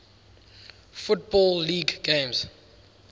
football league games